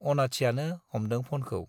अनाथियानो हमदों फ'नखौ ।